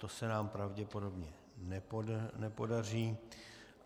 To se nám pravděpodobně nepodaří.